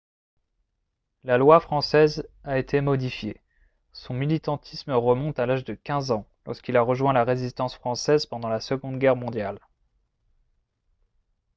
la loi française a été modifiée son militantisme remonte à l'âge de 15 ans lorsqu'il a rejoint la résistance française pendant la seconde guerre mondiale